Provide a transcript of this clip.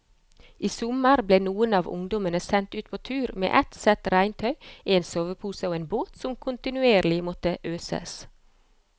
I sommer ble noen av ungdommene sendt ut på tur med ett sett regntøy, en sovepose og en båt som kontinuerlig måtte øses.